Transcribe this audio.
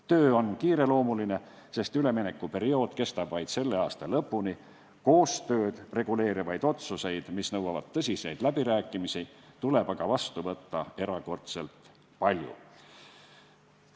Töö on kiireloomuline, sest üleminekuperiood kestab vaid selle aasta lõpuni, koostööd reguleerivaid otsuseid, mis nõuavad tõsiseid läbirääkimisi, tuleb aga vastu võtta erakordselt palju.